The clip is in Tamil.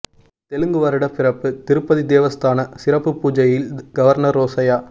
தெலுங்கு வருட பிறப்பு திருப்பதி தேவஸ்தான சிறப்பு பூஜையில் கவர்னர் ரோசையா